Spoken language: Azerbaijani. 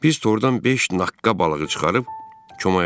Biz tordan beş naqqa balığı çıxarıb komaya döndük.